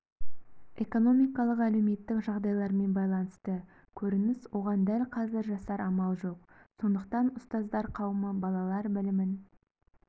экономикалық-әлеуметтік жағдайлармен байланысты көрініс оған дәл қазір жасар амал жоқ сондықтан ұстаздар қауымы балалар білімін